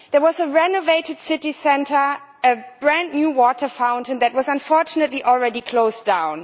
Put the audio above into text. There was a renovated city centre, a brand new water fountain that was, unfortunately, already closed down.